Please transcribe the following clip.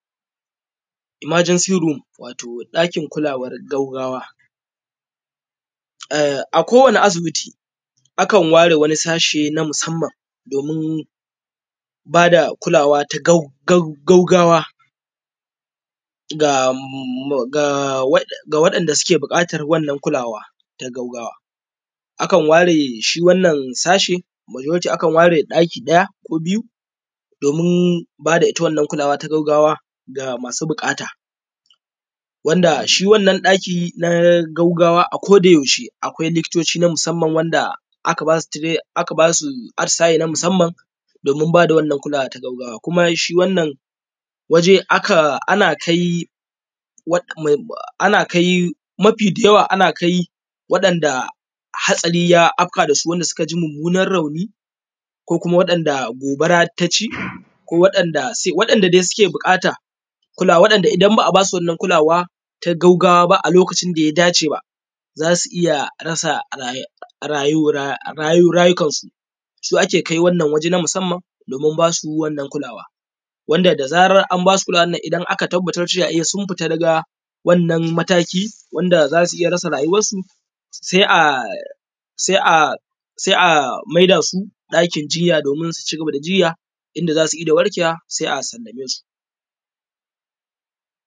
Emergency room. Wato ɗakin kulawar gaggawa, a kowanne asibiti akan ware wani sashe na musamman domin ba da kulawa ta gaggawa ga wadanda suke da buƙatar wannan kulawa ta gaggawa akan ware wannan sashe, majority akan ware ɗaki ɗaya ko biyu domin ba ita wannan kulawa ga masu baƙata wanda shi wannan ɗaki na gaggawa a kodayaushe akwai likitoci na musamman wanda aka ba su atisaye na musamman na ba da wannan kulawa na gaggawa kuma shi wannan waje ana ko mafi yawa ana kai wanɗanda hatsari ya afka musu suka ji mummunar rauni ko kuma waɗanda gobara ta ci ko waɗanda suke buƙata. In ba a ba su wannan kulawa ta gaggawa a lokacin da ya dace ba za su iya rasa rayukansu su ake kai waje na musamman domin ba su kulawa wanda da zarar an ba su kulawa nan idan aka tabbatar cewa sun fita daga wannan mataki wanda za su iya rasa rayuwarsu sai a maida su ɗakin jinya domin su ci gaba da jinya inda za su inda warkewa sai a sallamesu.